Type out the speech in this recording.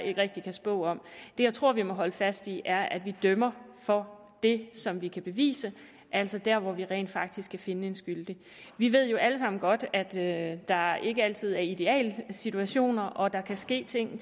ikke rigtig kan spå om det jeg tror vi må holde fast i er at vi dømmer for det som vi kan bevise altså der hvor vi rent faktisk kan finde en skyldig vi ved jo alle sammen godt at der ikke altid er idealsituationer og at der kan ske ting